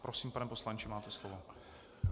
Prosím, pane poslanče, máte slovo.